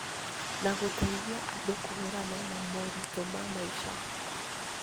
Na gũteithia andũ kũhũrana na moritũ ma maica.